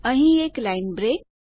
અહીં એક line break